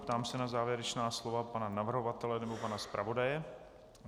Ptám se na závěrečná slova pana navrhovatele nebo pana zpravodaje.